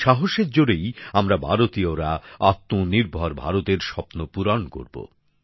এই সাহসের জোরেই আমরা ভারতীয়রা আত্ম নির্ভর ভারতের স্বপ্ন পূরণ করব